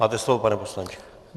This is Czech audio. Máte slovo, pane poslanče.